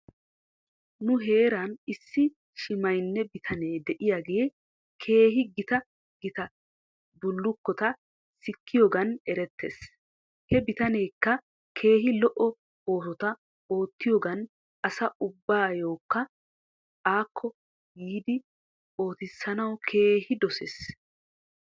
Nu heeran issi shimaynne bitanee diyaagee keehi gita gita bullukota sikkiyoogan erettes. He bitaneekka keehi lo'o oosota oottiyoogan asa ubbaykka akko yiidi oottissanawu keehi dossees.